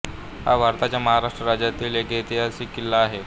हा भारताच्या महाराष्ट्र राज्यातील एक ऐतिहासिक किल्ला आहे